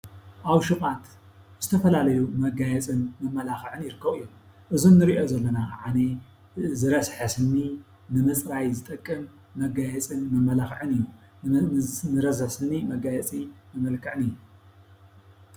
ኣብ ሸ ቋት ዝተፈላለዩ መጋየፂን መመላኸዒን ይርከቡ እዮም። እዚ እንሪኦ ዘለና ካዓነይ ዝረስሐ ስሊ ንምፅራይ ዝጠቅም መጋየፅን መማለኺዕን እዩ። ንዝረሰሐ ስኒ መጋየፂ መመልክዕን እዩ።